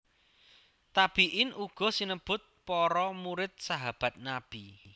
Tabiin uga sinebut para murid Sahabat Nabi